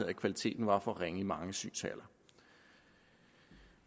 at kvaliteten var for ringe i mange synshaller